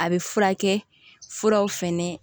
A bɛ furakɛ furaw fɛnɛ